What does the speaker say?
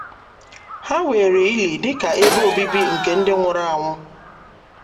Ha weere ili dị ka ebe obibi nke ndị nwụrụ anwụ.